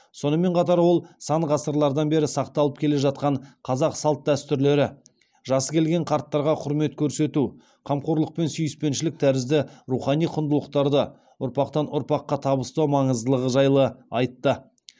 сонымен қатар ол сан ғасырлардан бері сақталып келе жатқан қазақ салт дәстүрлері жасы келген қарттарға құрмет көрсету қамқорлық пен сүйіспеншілік тәрізді рухани құндылықтарды ұрпақтан ұрпаққа табыстау маңыздылығы жайлы айтты